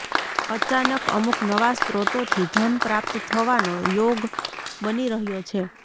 અચાનક અમુક નવા સ્ત્રોતોથી ધન પ્રાપ્ત થવાનો યોગ બની રહ્યો છે